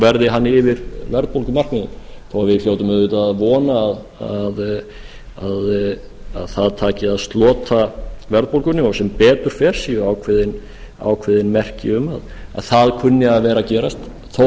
verði hann yfir verðbólgumarkmiðunum þó að við hljótum auðvitað að vona að það taki að slota verðbólgunni og sem betur fer séu ákveðin merki um að það kunni að vera að gerast og